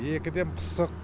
екіден пысық